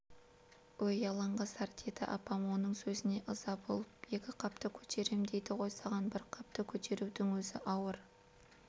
өй алаңғасар деді апам оның сөзіне ыза болып екі қапты көтерем дейді ғой саған бір қапты көтерудің өзі ауыр